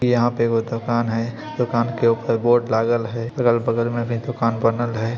यहां पे एगो दुकान है दुकान एक ऊपर बोर्ड लगल हेय अलग-बगल में भी दुकान बनल हेय।